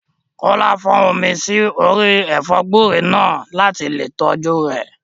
Kọ́lá fọ́n omi sí orí ẹ̀fọ́ gúúre náà láti lè tọ́jú rẹ̀